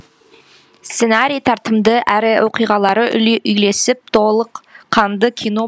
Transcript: сценарий тартымды әрі оқиғалары үйлесіп толық қанды кино